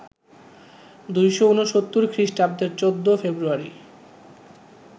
২৬৯ খৃষ্টাব্দের ১৪ ফেব্রুয়ারি